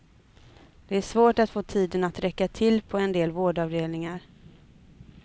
Det är svårt att få tiden att räcka till på en del vårdavdelningar.